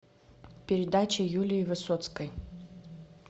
передача юлии высоцкой